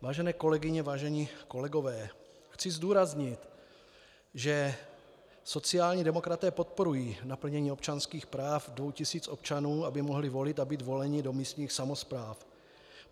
Vážené kolegyně, vážení kolegové, chci zdůraznit, že sociální demokraté podporují naplnění občanských práv dvou tisíc občanů, aby mohli volit a být voleni do místních samospráv.